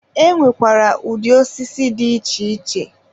e nwekwara ụdị osisi dị iche iche.